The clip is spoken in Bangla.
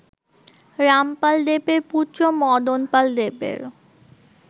রামপাল দেবের পুত্র মদনপাল দেবের